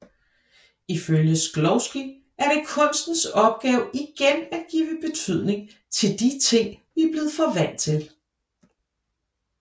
Ifølge Shklovsky er det kunstens opgave igen at give betydning til de ting vi er blevet for vant til